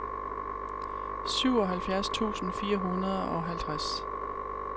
syvoghalvfjerds tusind fire hundrede og halvtreds